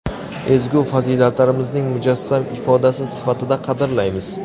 ezgu fazilatlarimizning mujassam ifodasi sifatida qadrlaymiz.